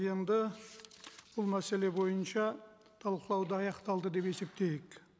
енді бұл мәселе бойынша талқылауды аяқталды деп есептейік